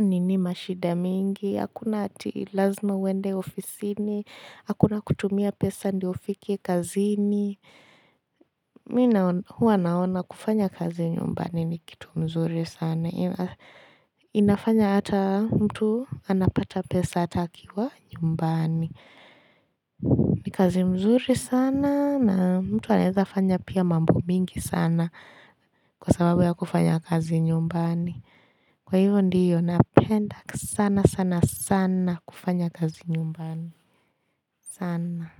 nini mashida mingi, hakuna ati lazima uende ofisini, hakuna kutumia pesa ndiyo ufike kazini. Mimi huwa naona kufanya kazi nyumbani ni kitu mzuri sana inafanya ata mtu anapata pesa ata akiwa nyumbani ni kazi mzuri sana na mtu anawezafanya pia mambo mingi sana Kwa sababu ya kufanya kazi nyumbani Kwa hivyo ndiyo napenda sana sana sana kufanya kazi nyumbani sana.